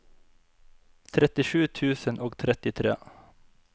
trettisju tusen og trettitre